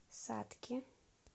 сатки